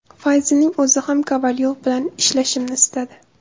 Fayzining o‘zi ham Kovalyov bilan ishlashimni istadi.